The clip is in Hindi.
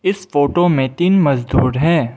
इस फोटो में तीन मजदूर हैं।